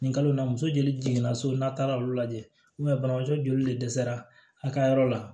Nin kalo la muso joli jiginna so n'a taara olu lajɛ ubɛ banabaatɔ joli de dɛsɛra a ka yɔrɔ la